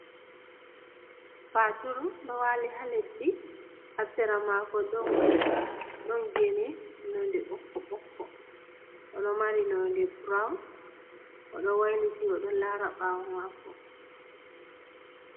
Faturu ɗo wali ha leddi, ha sera mako ɗon gene nonde ɓokko ɓokko, oɗo mari nonde brawn, oɗo wayliti o ɗo lara ɓawo mako.